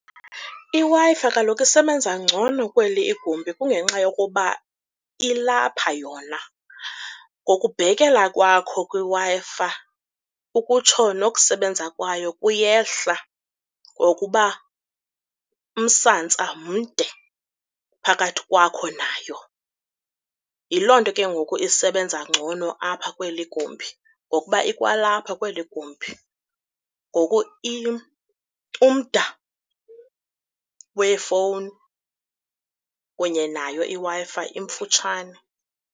IWi-Fi kaloku isebenza ngcono kweli igumbi kungenxa yokuba ilapha yona, ngokubhekele kwakho kwiWi-Fi ukutsho nokusebenza kwayo kuyehla, ngokuba umsantsa mde phakathi kwakho nayo. Yiloo nto ke ngoku isebenza ngcono apha kweli gumbi ngokuba ikwalapha kweli igumbi. Ngoku umda wefowuni kunye nayo iWi-Fi imfutshane.